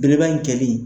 Belebeleba in kɛli